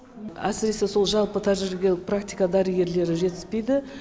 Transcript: әсіресе сол жалпы тәжірибелік практика дәрігерлері жетіспейді